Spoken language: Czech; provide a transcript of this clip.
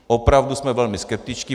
Opravdu jsme velmi skeptičtí.